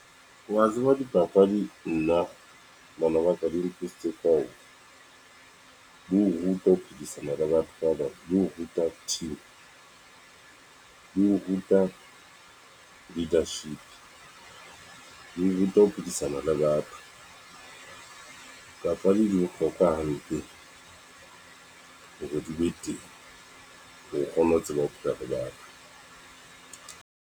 Wa tseba dipapadi nna bana ba ka di ka di o ruta ho phedisana le batho ba bang di o ruta team, di o ruta leadership, di ruta ho phedisana le batho papadi di bohlokwa hampe hore di be teng hore o kgone ho tseba ho pheha le batho.